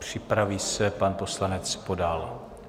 Připraví se pan poslanec Podal.